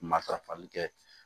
Matarafali kɛ